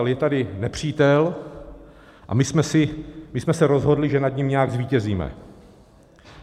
Ale je tady nepřítel a my jsme se rozhodli, že nad ním nějak zvítězíme.